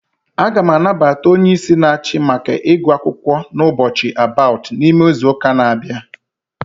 A ga m anabata onyeisi n'achi maka igu akwukwo n'ubochi about, n'ime izuuka n'abia